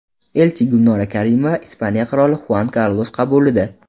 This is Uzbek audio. Elchi Gulnora Karimova Ispaniya qiroli Xuan Karlos qabulida.